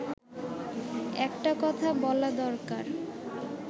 একটা কথা বলা দরকার